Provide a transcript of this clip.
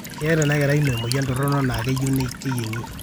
keeta ena kerai ino emoyian torono nayieu na keyiengi